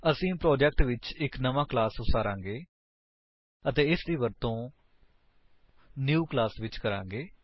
ਅਸੀ ਪ੍ਰੋਜੇਕਟ ਵਿੱਚ ਇੱਕ ਨਵਾਂ ਕਲਾਸ ਉਸਾਰਾਂਗੇ ਅਤੇ ਇਸਦਾ ਵਰਤੋ ਨਿਊ ਕਲਾਸ ਵਿੱਚ ਕਰਾਂਗੇ